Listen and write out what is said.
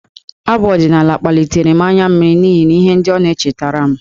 Abụ ọdịnaala kpalitere m anya mmiri n'ihi ihe ndị ọ na-echetara m.